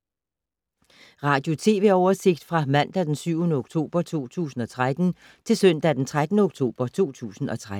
Radio/TV oversigt fra mandag d. 7. oktober 2013 til søndag d. 13. oktober 2013